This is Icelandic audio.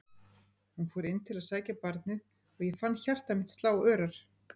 Hún fór inn til að sækja barnið og ég fann hjarta mitt slá örar.